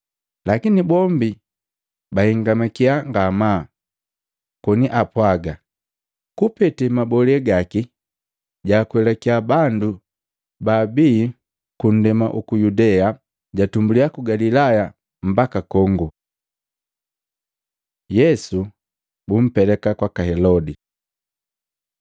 Lakini bombi bahingamaki ngamaa koni apwaaga, “Kupetea mabolee gaki jaakwelake bandu baabii ku ndema juku Yudea. Jatumbuliya ku Galilaya mbaka kongo.” Yesu bumpeleka kwaka Helodi